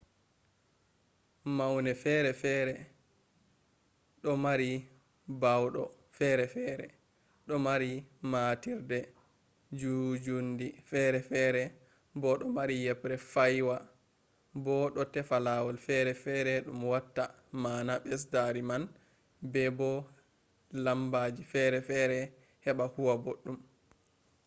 maune ferefere do mari baawdo ferefere do mari matiirde njuunjuundi ferefere bo do mari yebre faywa bo do tefa lawol ferefere dum watta maana besdaari man be bo lambaji ferefere heba huwa boddum